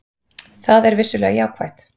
Það er vissulega jákvætt